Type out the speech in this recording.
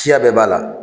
Siya bɛɛ b'a la